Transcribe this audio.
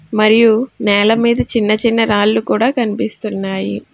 మరియు నేల మీద చిన్న చిన్న రాళ్ళు కూడా కనిపిస్తున్నాయి.